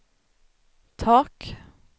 tak